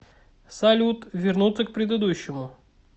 салют вернуться к предыдущему